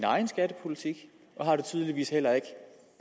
egen skattepolitik og har det tydeligvis heller ikke